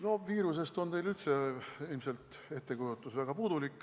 No viirusest on teil üldse ilmselt väga puudulik ettekujutus.